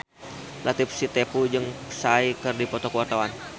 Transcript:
Latief Sitepu jeung Psy keur dipoto ku wartawan